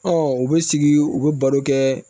u bɛ sigi u bɛ baro kɛ